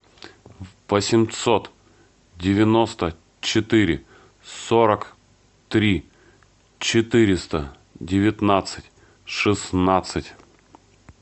восемьсот девяносто четыре сорок три четыреста девятнадцать шестнадцать